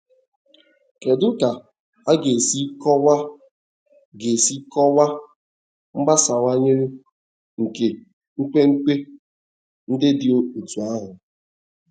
Kedu ka a ga-esi kọwaa ga-esi kọwaa mgbasawanye nke nkwenkwe ndị dị otú ahụ?